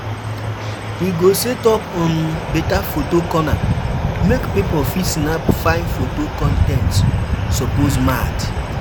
We go set up um beta photo corner, make pipo fit snap fine foto con ten t suppose mad